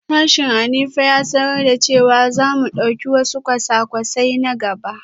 Sashen Hanifa ya sanar da cewa za mu dauki wasu kwasa-kwasai na gaba